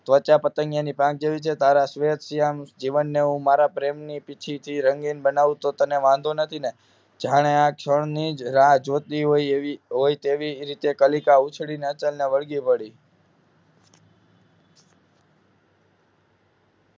ત્વચા પતંગિયાના પાંખ જેવી છે તારા શ્વેત-શ્યામ જીવનને હું મારા પ્રેમની પીંછીથી રંગીન બનાવતો તને વાંધો નથીને જાણે ક્ષણની જ રાહ જોઇતી હોય એ વી હોય તેવી તે રીતે કલિકા ઉછડીને અચલ ને વળગી પડી